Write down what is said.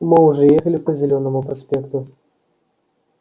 мы уже ехали по зелёному проспекту